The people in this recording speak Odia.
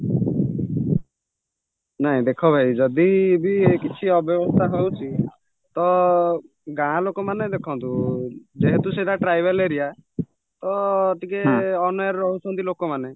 ନାଇଁ ଦେଖ ଭାଇ ଯଦିବି କିଛି ଅବ୍ୟବସ୍ଥା ହଉଛି ତ ଗାଁଲୋକମାନେ ଦେଖନ୍ତୁ ଯେହେତୁ ସେଇଟା tribal area ତ ଟିକେ ଅନ୍ୟାୟରେ ରହୁଛନ୍ତି ଲୋକ ମାନେ